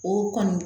O kɔni